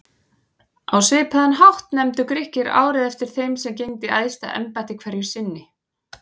Á svipaðan hátt nefndu Grikkir árið eftir þeim sem gegndi æðsta embætti hverju sinni.